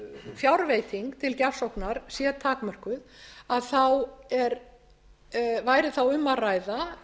fjárveiting til gjafsóknar sé takmörkuð þá væri þá um að ræða